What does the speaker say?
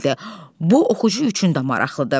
Bu oxucu üçün də maraqlıdır.